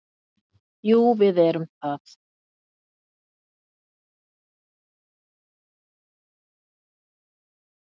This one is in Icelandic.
Jú, við erum það.